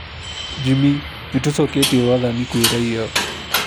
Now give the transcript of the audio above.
Jimmy: Nĩtũcoketie wathani kwĩ raia